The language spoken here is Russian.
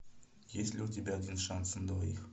есть ли у тебя один шанс на двоих